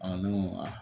ne ma